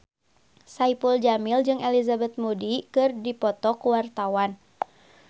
Saipul Jamil jeung Elizabeth Moody keur dipoto ku wartawan